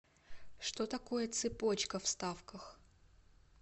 что такое цепочка в ставках